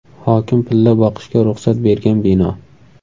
Hokim pilla boqishga ruxsat bergan bino.